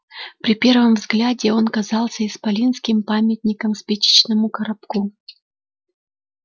при первом взгляде он казался исполинским памятником спичечному коробку